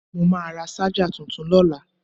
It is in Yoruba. Mo máa ra ṣájà tuntun lọ́la.